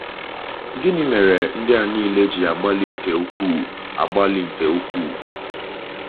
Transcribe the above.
Gịnị mere ndị a nile ji agbalị nke ukwuu agbalị nke ukwuu?